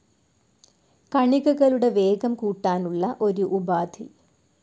കണികകളുടെ വേഗം കൂട്ടാനുള്ള ഒരു ഉപാദി.